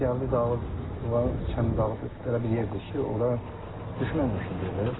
Biz gəldik, dağız, kəndin dağı idi, elə bir yer idi ki, ora düşmək mümkün deyil.